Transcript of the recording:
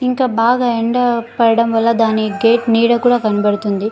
ఇంకా బాగా ఎండా పడడం వాళ్ళ దాని గేట్ నీడ కూడా కనపడుతుంది.